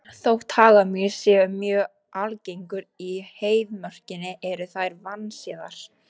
Þótt hagamýs séu mjög algengar í Heiðmörkinni eru þær vandséðar.